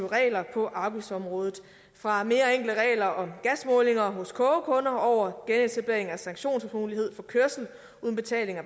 regler på arbejdsområdet fra mere enkle regler om gasmålinger hos kogekunder over genetablering af sanktionsmulighed for kørsel uden betaling af